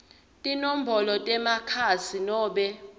tinombolo temakhasi nobe